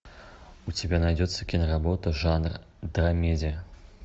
у тебя найдется киноработа жанр драмедия